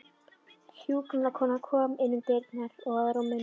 Hjúkrunarkona kom inn um dyrnar og að rúminu.